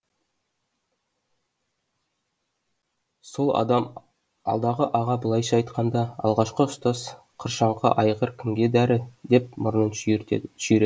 сол адам алдағы аға былайша айтқанда алғашқы ұстаз қыршаңқы айғыр кімге дәрі деп мұрнын шүйіред